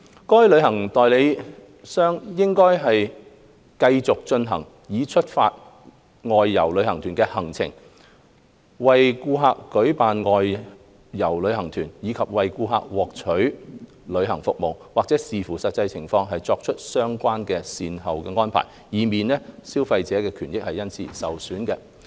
該旅行代理商理應繼續進行已出發的外遊旅行團的行程、為顧客舉辦外遊旅行團，以及為顧客獲取旅行服務，或視乎實際情況而作出相關的善後安排，以免消費者的權益受損。